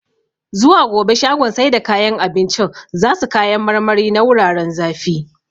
Zuwa gobe shagon sai da kayan abincin zasu kayan marmari na wuraren zafi